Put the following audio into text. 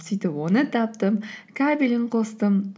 сөйтіп оны таптым кабелін қостым